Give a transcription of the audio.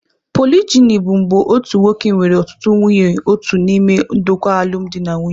Polijini bụ mgbe otu nwoke nwere ọtụtụ nwunye otu n'ime ndokwa alụmdi na nwunye.